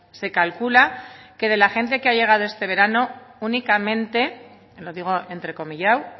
se calcula que de la gente que ha llegado este verano únicamente lo digo entrecomillado